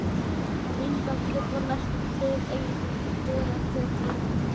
Kindakjöt var því næstum hið eina sem til greina kom þegar frá leið.